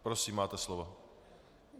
Prosím, máte slovo.